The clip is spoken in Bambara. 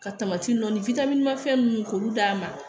Ka nɔ fɛn munnu k'olu d'a ma